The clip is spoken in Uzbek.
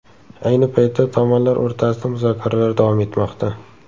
Ayni paytda tomonlar o‘rtasida muzokaralar davom etmoqda.